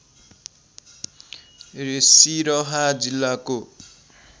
सिरहा जिल्लाको